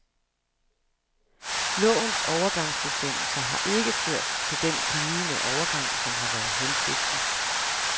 Lovens overgangsbestemmelser har ikke ført til den glidende overgang, som har været hensigten.